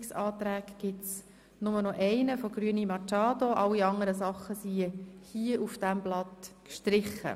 Rückweisungsantrag in der Version 2 gibt es nur noch denjenigen der Grünen, alle anderen wurden hier auf diesem Blatt gestrichen.